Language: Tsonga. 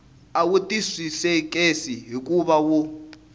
a wu twisiseki hikuva wu